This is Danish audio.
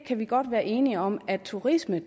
kan godt være enige om at turisme